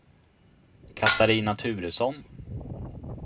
Catarina Turesson